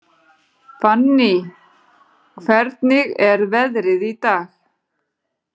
Fanny, hvernig er veðrið í dag?